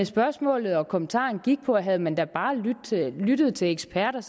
spørgsmålet og kommentaren gik på at havde man da bare lyttet til eksperter